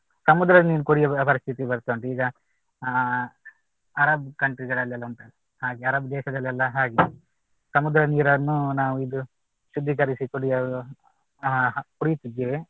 ಸಮುದ್ರದ ನೀರ್ ಕುಡಿಯುವ ಪರಿಸ್ಥಿತಿ ಬರ್ತಾ ಉಂಟ್ ಈಗ ಅಹ್ ಅರಬ್ country ಗಳಲ್ಲೆಲ್ಲ ಉಂಟಲ್ಲ ಹಾಗೆ ಅರಬ್ ದೇಶದಲ್ಲೆಲ್ಲ ಹಾಗೆ ಸಮುದ್ರ ನೀರನ್ನು ನಾವು ಇದು ಶುದ್ದೀಕರಿಸಿ ಕುಡಿಯಲು ಅಹ್ ಕುಡಿಯುತ್ತಿದ್ದೇವೆ